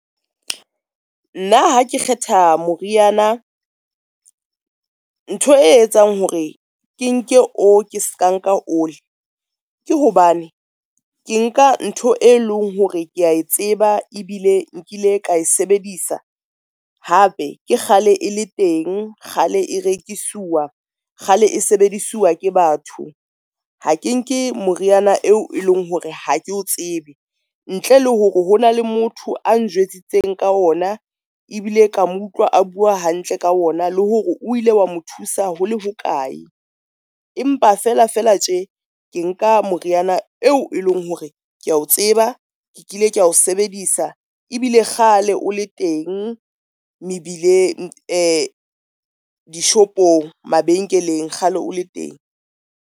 Nna ha ke kgetha moriana ntho e etsang hore ke nke o ke ska nka ole, ke hobane ke nka ntho e leng hore ke a e tseba ebile nkile ka e sebedisa hape ke kgale e le teng, kgale e rekisuwa, kgale e sebediswa ke batho. Ha ke nke moriana eo e leng hore ha ke o tsebe ntle le hore ho na le motho a njwetsitse ka ona ebile ka mo utlwa a bua hantle ka ona, le hore o ile wa mo thusa hole hokae. Empa fela fela tje ke nka moriana eo e leng hore ke a o tseba kile ka ho sebedisa ebile kgale o le teng mebileng, dishopong, mabenkeleng, kgale o le teng.